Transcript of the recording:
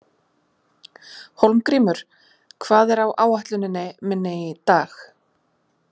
Hólmgrímur, hvað er á áætluninni minni í dag?